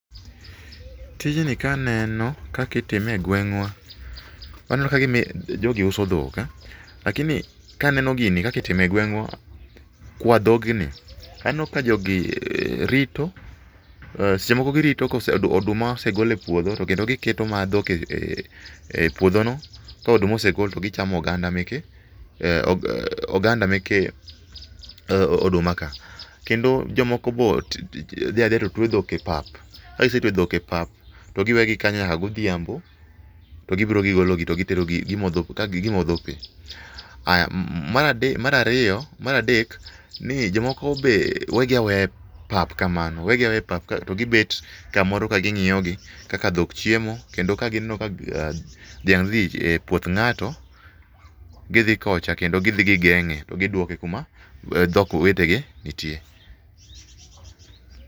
Tijni ka neno kaka itime egweng'wa , aneno kagima jogi uso dhok lakini dhok kwa dhogni aneno ka jogi rito, seche moko girito ka oduma osegole epuodho to kendo gi keto ma dhok epuodhono ka oduma osegol to gichamo oganda meke, oganda meke oduma ka. Kendo joko be dhia adhia to twe dhok e pap, kagise twe dhok epap, to gi wegi kanyo nyaka godhiambo to gibiro gigologi to giterogi gi ka modho pii. Aya Mar ade Mar ariyo, Mar adek, ni jomoko be wegi aweya e pap kamano wegi aweya epa to gi bet kamoro to gi ng'iyogi kaka dhok chiemo kendo ka gi neno ka dhiang' dhie e puoth ng'ato gi dhi kocha kendo gi dhi gigeng'e to giduoke kuma dhok wetegi nitie.